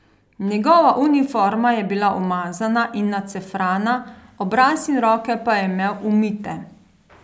Njegova uniforma je bila umazana in nacefrana, obraz in roke pa je imel umite.